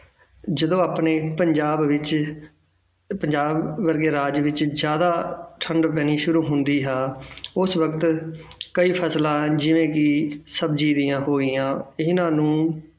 ਜਦੋਂ ਆਪਣੇ ਪੰਜਾਬ ਵਿੱਚ ਪੰਜਾਬ ਵਰਗੇ ਰਾਜ ਵਿੱਚ ਜ਼ਿਆਦਾ ਠੰਢ ਪੈਣੀ ਸ਼ੁਰੂ ਹੁੰਦੀ ਹੈ ਉਸ ਵਕਤ ਕਈ ਫ਼ਸਲਾਂ ਜਿਵੇਂ ਕਿ ਸਬਜ਼ੀ ਦੀਆਂ ਪੂਰੀਆਂ ਇਹਨਾਂ ਨੂੰ